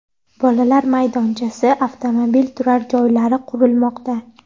Bolalar maydonchasi, avtomobil turar joylari qurilmoqda.